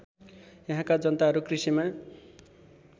यहाँका जनताहरू कृषिमा